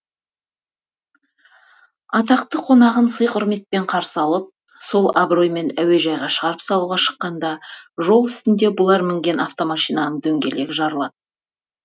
атақты қонағын сый құрметпен қарсы алып сол абыроймен әуежайға шығарып салуға шыққанда жол үстінде бұлар мінген автомашинаның дөңгелегі жарылады